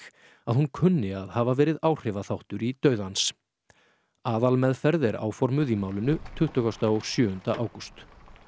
að hún kunni að hafa verið áhrifaþáttur í dauða hans aðalmeðferð er áformuð í málinu tuttugasta og sjöunda ágúst